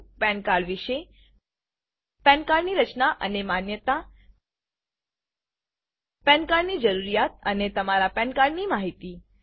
પાન cardપેન કાર્ડ વિશે PAN card pen card ની રચના અને માન્યતા પાન cardપેન કાર્ડ જરૂરિયાત અને તમારા પાન cardપેન કાર્ડની માહિતી